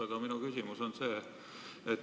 Aga minu küsimus on selline.